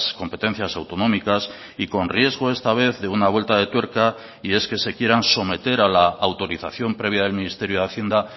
competencias autonómicas y con riesgo esta vez de una vuelta de tuerca y es que se quieran someter a la autorización previa del ministerio de hacienda